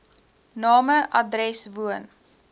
name adres woon